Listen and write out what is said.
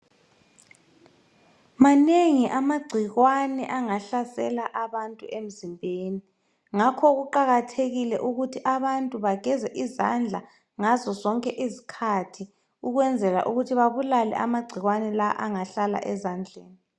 Manengi amagcikwane angahlasela abantu emzimbeni. Ngakho kuqakathekile ukuthi abantu bageze izandla ngazozonke izikhathi ukwenzela ukuthi babulale amagcikwane la angahlala ezandleni.